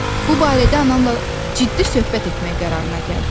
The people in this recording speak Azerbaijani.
Bu barədə anamla ciddi söhbət etmək qərarına gəldim.